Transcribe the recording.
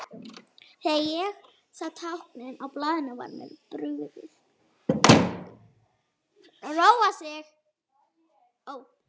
Þegar ég sá táknin á blaðinu var mér brugðið.